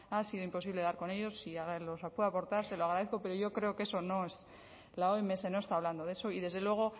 ha sido imposible dar con ellos si los puede aportar se lo agradezco pero yo creo que eso no es la oms no está hablando de eso y desde luego